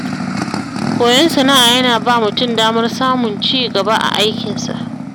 Koyon sana'a yana ba mutum damar samun ci gaba a aikinsa.